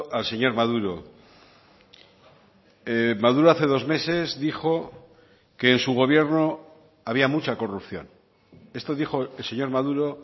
al señor maduro maduro hace dos meses dijo que en su gobierno había mucha corrupción esto dijo el señor maduro